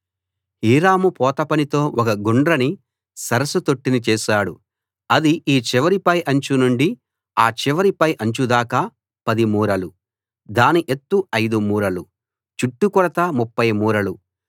Hiram పోత పనితో ఒక గుండ్రని సరస్సు తొట్టిని చేశాడు అది ఈ చివరి పై అంచు నుండి ఆ చివరి పై అంచు దాకా 10 మూరలు దాని ఎత్తు 5 మూరలు చుట్టుకొలత 30 మూరలు